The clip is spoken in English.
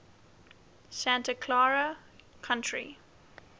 santa clara county